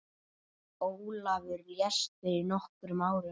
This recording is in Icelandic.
Ólafur lést fyrir nokkrum árum.